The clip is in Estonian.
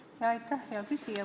Aitäh, hea küsija!